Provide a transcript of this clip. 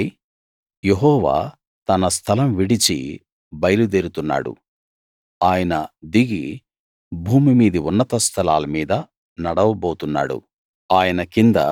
చూడండి యెహోవా తన స్థలం విడిచి బయలుదేరుతున్నాడు ఆయన దిగి భూమి మీది ఉన్నత స్థలాల మీద నడవబోతున్నాడు